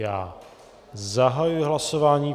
Já zahajuji hlasování.